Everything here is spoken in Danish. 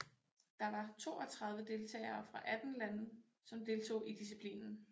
Der var toogtredive deltagere fra atten lande som deltog i disciplinen